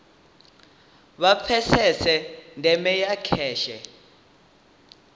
vha pfesese ndeme ya kheshe